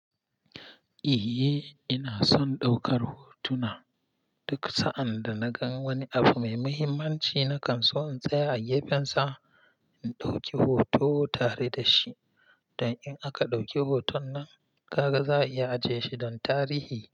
Eh, ina son ɗaukar hotuna. Duk sa'ad da na ga wani abu mai muhimmanci na kan so in tsaya a gefensa in ɗauki hoto tare da shi. Dan in aka ɗauki hoton nan, ka ga za'a iya ajiye shi don tarihi.